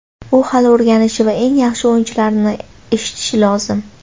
U hali o‘rganishi va eng yaxshi o‘yinchilarni eshitishi lozim.